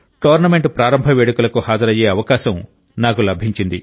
tournament ప్రారంభ వేడుకలకు హాజరయ్యే అవకాశం నాకు లభించింది